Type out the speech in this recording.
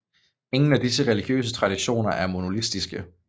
Ingen af disse religiøse traditioner er monolitiske